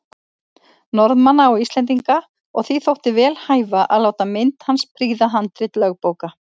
Norðmanna og Íslendinga, og því þótti vel hæfa að láta mynd hans prýða handrit lögbóka.